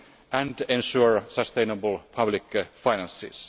and to ensure sustainable public finances.